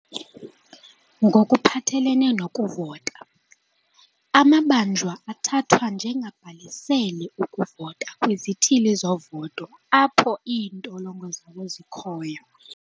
"Ngokuphathelene nokuvota, amabanjwa athathwa njengabhalisele ukuvota kwizithili zovoto apho iintolongo zawo zikhoyo."